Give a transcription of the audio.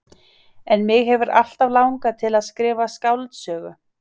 En mig hefur alltaf langað til að skrifa skáldsögu.